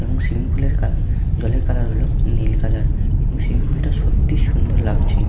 এবং সুইমিং পুলের কা জলের কালার হলো নীল কালার এবং সুইমিং পুল -টা সত্যিই সুন্দর লাগছে।